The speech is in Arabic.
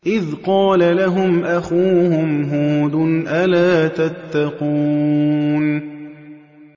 إِذْ قَالَ لَهُمْ أَخُوهُمْ هُودٌ أَلَا تَتَّقُونَ